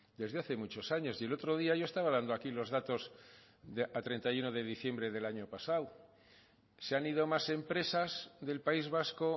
desde hace muchos años y el otro día yo estaba dando aquí los datos a treinta y uno de diciembre del año pasado se han ido más empresas del país vasco